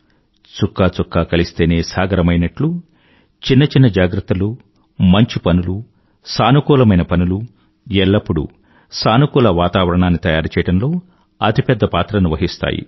చుక్కచుక్కా కలిస్తేనే సాగరమైనట్లు చిన్న చిన్న జాగ్రత్తలు మంచి పనులు సానుకూలమైన పనులు ఎల్లప్పుడూ సానుకూల వాతావరణాన్ని తయారుచేయడంలో అతి పెద్ద పాత్రను వహిస్తాయి